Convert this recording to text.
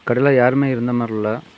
கடையில யாருமே இருந்த மாறி இல்ல.